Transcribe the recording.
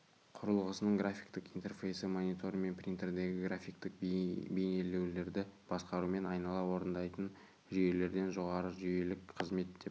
құрылғысының графиктік интерфейсі монитор мен принтердегі графиктік бейнелеулерді басқарумен айнала орындайтын жүйелерден жоғары жүйелік қызмет деп